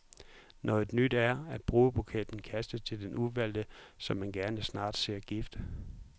Noget nyt er, at brudebuketten kastes til den udvalgte, som man gerne snart ser gift.